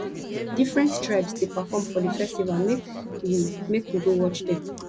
different tribes dey perform for di festival make we make we go watch dem